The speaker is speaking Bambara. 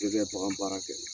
N'i bɛ bakan baara kɛ